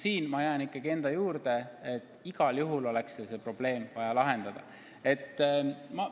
Siin ma jään ikkagi enda juurde, et igal juhul on vaja seda teha.